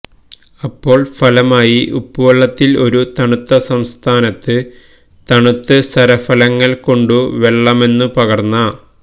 അപ്പോൾ ഫലമായി ഉപ്പുവെള്ളത്തിൽ ഒരു തണുത്ത സംസ്ഥാനത്ത് തണുത്ത് സരസഫലങ്ങൾ കൊണ്ട് വെള്ളമെന്നു പകർന്ന